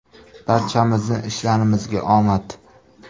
Barchamizning ishlarimizga omad!